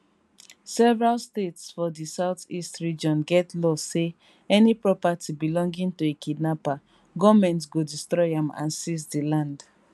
several states for di southeast region get law say any property belonging to a kidnapper goment go destroy am and seize di land